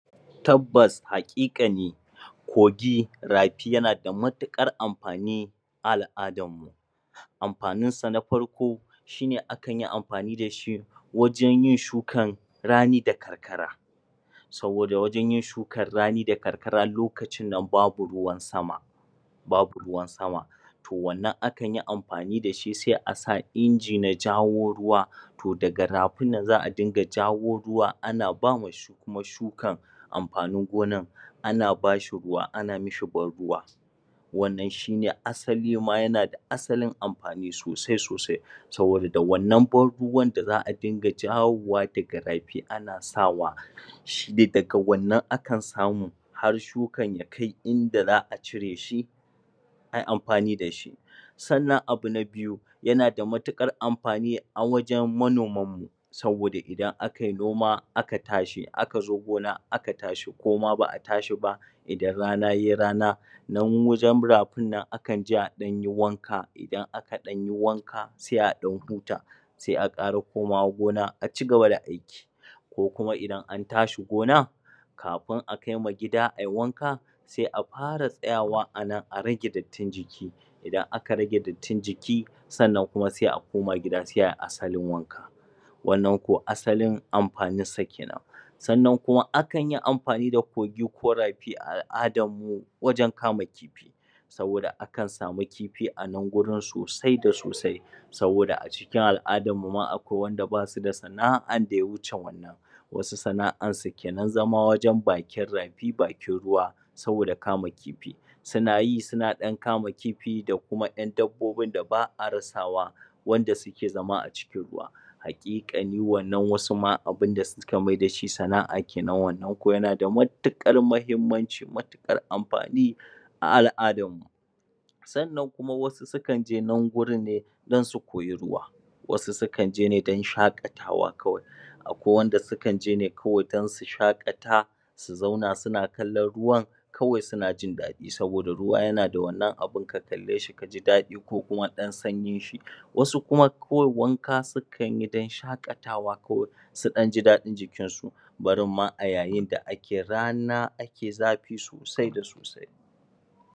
Tabbas hakikani kogi, rafi yana da matuƙar amfani a al'adarmu. Amfaninsa na farko, shine akanyi amfani da shi wajen yin shukan rani da karkara. Saboda wajen yin shukar rani da karkara lokacin nan babu ruwan sama babu ruwan sama. to wannan akanyi amfani da shi sai asa inji mai jawo ruwa To daga rafin nann za a riga jawo ruwaana bama shi kuma shukan amfanin gonan, ana ba shi ruwa ana mishi ban ruwa. Wannan shine asali ma yana da asalin amfani sosai sosai. Saboda da wannan banruwan da za'a dinga jawowa daga rafi ana sawa shine daga wannan ake samu har shukan ya kai inda za'a cire shi, ai amfani da shi. Sannan abu na biyu: Yana da matuƙar amfani a wajen manomanmu, saboda idan akai noma aka tashi, aka zo gona aka tashi ko ma ba'a tashi ba idan rana yai rana nan wajen rafin nan akan je ayi wanka idan akan ɗanyi wanka, sai a ɗan huta. Sai a ƙara komawa gona a ci gabada aiki. Ko kua idan an tashi gona, kafin akaima gida ai wanka, sai a fara tsayawa anan a ragedattin jiki. Idan aka rage dattin jiki, sannan kuma sai a koma gida, sai ai asalin wanka. Wannan ko asalin amfanin s kenan. Sannan kumaakan yi amfa ni da kogi ko rafi a wajen kama kifi. Saboda akan sami kifi anan gurin sosai da sosai. Saboda a cikin al'adarmu ma akwai wanda basu da sana'ar da ya wuce wann. Wasu sana'ar su kenan zama wajen bakin rafi bakin ruwa, saboda kama kifi. Suna yi suna kama kifi da kuma 'yan dabbobin da ba'a rasawa wanda suke zam a cikin ruwa. Haƙiƙanin wannan wasu abun da suka mai da shi sana'ar kenan wannan ko yana da matuƙar muhimmanci, matuƙar amfani a al'adarmu. Sannan kuma wasu su kan je nan gurinne do su koyi ruwa. Wasu su kan je ne don shaƙatawa kawai. akwai anda su kan je ne kawai don su shaƙata, su zauna suna kallon ruwan, kawai suna jin daɗi saboda ruwa yana da wannan abun ka kalle shi ka ji daɗi ko kuma ɗan sanyin shi. Wasu kuma kawai wanka sukan yi don shaƙatawa kawai su ɗan ji ɗaɗin jikin su barin ma a yayin da ake rana ake rana ake zafi sosai da sosai.